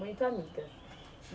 Muito amigas.